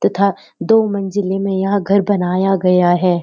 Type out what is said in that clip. तथा दो मंजिले में यहाँ घर बनाया गया है।